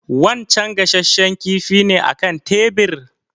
Wancen gashashshen kifi ne a kan tebir?